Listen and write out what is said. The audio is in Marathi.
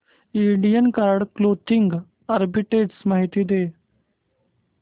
इंडियन कार्ड क्लोदिंग आर्बिट्रेज माहिती दे